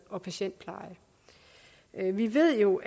og patientpleje vi ved jo